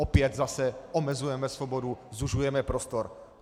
Opět zase omezujeme svobodu, zužujeme prostor.